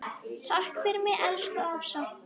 Takk fyrir mig, elsku Ása.